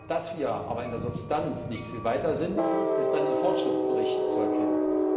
Dass wir aber in der Substanz nicht viel weiter sind, ist an den Fortschrittsberichten zu erkennen.